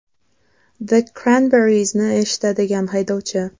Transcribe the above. The Cranberries’ni eshitadigan haydovchi.